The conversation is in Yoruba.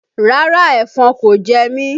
Rárá, ẹ̀fọn kò jẹmí